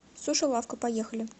суши лавка поехали